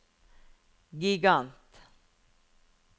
gigant